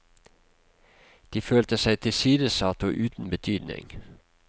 De følte seg tilsidesatt og uten betydning.